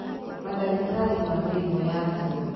Mandagĩtarĩ ma mĩrimũ ya higo